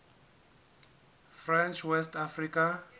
french west africa